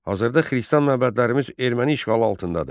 Hazırda xristian məbədlərimiz erməni işğalı altındadır.